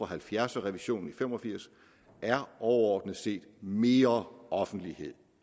halvfjerds og revisionen i nitten fem og firs er overordnet set mere offentlighed